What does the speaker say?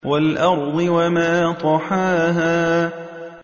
وَالْأَرْضِ وَمَا طَحَاهَا